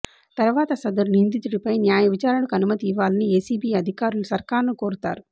తర్వాత సదరు నిందితుడిపై న్యాయ విచారణకు అనుమతి ఇవ్వాలని ఏసీబీ అధికారులు సర్కారును కోరుతారు